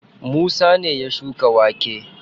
Musa ne ya shuka wake.